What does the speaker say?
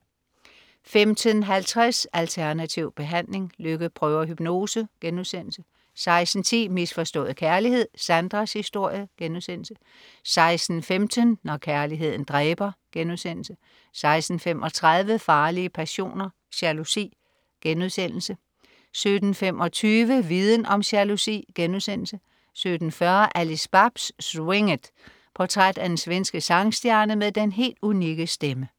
15.50 Alternativ behandling. Lykke prøver hypnose* 16.10 Misforstået kærlighed. Sandras historie* 16.15 Når kærligheden dræber* 16.35 Farlige passioner: Jalousi* 17.25 Viden om jalousi* 17.40 Alice Babs, Swing It. Portræt af den svenske sangstjerne med den helt unikke stemme